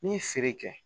N'i ye feere kɛ